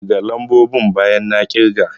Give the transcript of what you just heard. Ƙirga lambobin bayan na ƙirga!